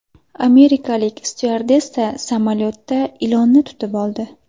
Amerikalik styuardessa samolyotda ilonni tutib oldi.